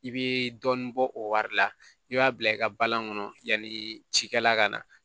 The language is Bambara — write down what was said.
I bɛ dɔɔnin bɔ o wari la i b'a bila i ka balan kɔnɔ yanni cikɛla ka na